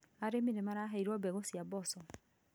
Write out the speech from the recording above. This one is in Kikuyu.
Arĩmi nĩ maraheirwo mbegũ cia mboco